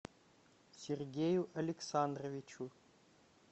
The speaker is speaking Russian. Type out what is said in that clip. сергею александровичу